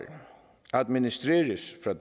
administreres fra